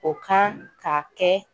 O kan ka kɛ